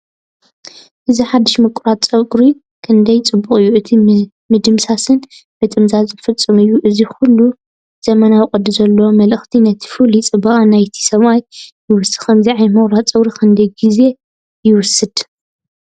እዚ ሓድሽ ምቑራጽ ጸጉሪ ክንደይ ጽቡቕ እዩ! እቲ ምድምሳስን ምጥምዛዝን ፍጹም እዩ። እዚ ኩሉ ዘመናውን ቅዲ ዘለዎን መልክዕ ነቲ ፍሉይ ጽባቐ ናይቲ ሰብኣይ ይውስኸሉ። ከምዚ ዓይነት ምቑራጽ ጸጉሪ ክንደይ ግዜ ይወስድ?